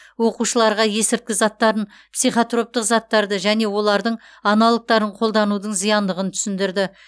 оқушыларға есірткі заттарын психотроптық заттарды және олардың аналогтарын қолданудың зияндығын түсіндірді